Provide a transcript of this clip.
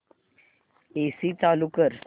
AC चालू कर